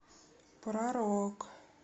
про рок